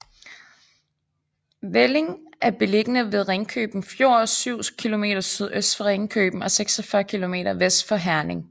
Velling er beliggende ved Ringkøbing Fjord syv kilometer sydøst for Ringkøbing og 46 kilometer vest for Herning